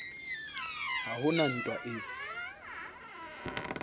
ha ho na ntwa e